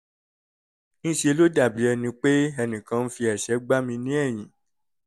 ń ṣe ló dàbí ẹni pé ẹnìkan ń fi ẹ̀ṣẹ́ gbá mi ní ẹ̀yìn